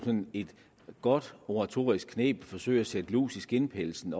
et godt retorisk kneb at forsøge at sætte lus i skindpelsen